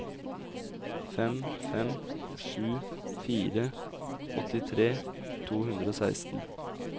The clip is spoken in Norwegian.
fem fem sju fire åttitre to hundre og seksten